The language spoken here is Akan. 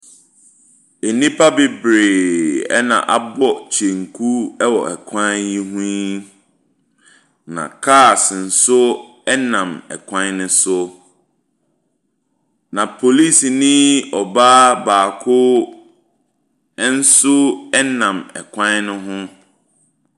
Enipa bebree ɛna abɔ kyenku ɛwɔ ɛkwan yi ho yi na cars nso ɛnam ɛkwan ne so. Na polisinii ɔbaa baako ɛnso ɛnam ɛkwan ne ho.